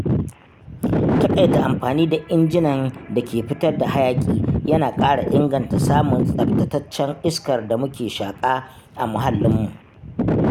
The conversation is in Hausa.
Taƙaita amfani da injinan da ke fitar da hayaƙi yana ƙara inganta samun tsabtataccen iskar da mu ke shaƙa a muhallin mu.